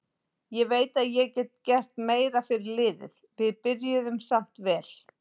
Ég veit að ég get gert meira fyrir liðið, við byrjuðum samt vel.